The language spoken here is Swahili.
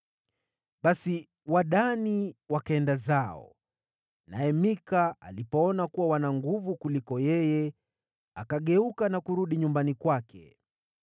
Basi Wadani wakaenda zao, naye Mika alipoona kuwa wana nguvu kumliko yeye, akageuka na kurudi nyumbani kwake.